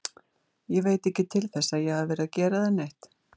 Ég veit ekki til þess að ég hafi verið að gera þér neitt.